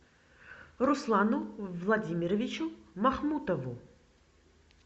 руслану владимировичу махмутову